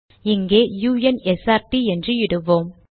இங்கே u n s r ட் என்று இடுவோம்